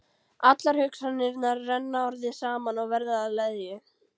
Allar hugsanirnar renna orðið saman og verða að leðju.